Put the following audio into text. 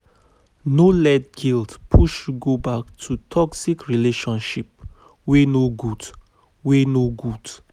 No let guilt push you go back to toxic relationship wey no good.